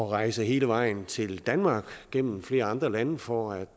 rejse hele vejen til danmark gennem flere andre lande for at